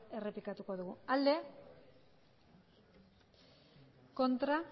errepikatuko dugu bozka dezakegu aldeko botoak aurkako